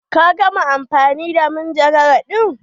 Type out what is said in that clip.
Ka gama amfani da manjagara ɗin?